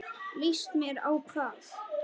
Líst mér á hvað?